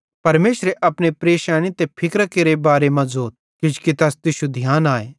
परमेशरे अपने परेशैनी ते फिकरां केरे बारे मां ज़ोथ किजोकि तैस तुश्शू ध्यान आए